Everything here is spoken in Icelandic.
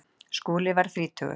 Skúli varð þrítugur.